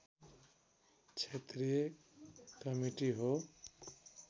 क्षेत्रीय कमिटी हो